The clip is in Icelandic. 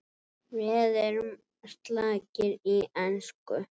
Við erum slakir í ensku